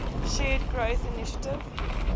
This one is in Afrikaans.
shared growth initiative